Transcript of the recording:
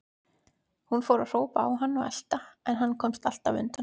Hún fór að hrópa á hann og elta, en hann komst alltaf undan.